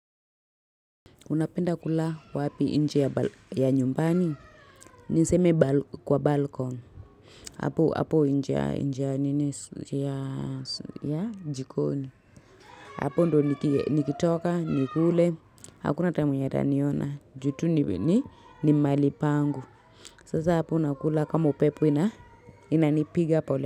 Unapenda kula wapi nje ya nyumbani. Niseme kwa balcon. Hapo nje ya nje ya jikoni. Hapo ndo nikitoka, nikule. Hakuna ata mwenye ataniona juu tu ni malipangu. Sasa hapo unakula kama upepo inanipiga pole.